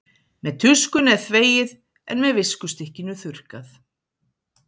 með tuskunni er þvegið en með viskustykkinu þurrkað